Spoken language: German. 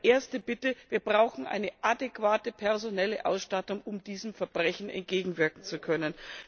Deshalb meine erste Bitte Wir brauchen eine adäquate personelle Ausstattung, um diesen Verbrechen entgegenwirken zu können.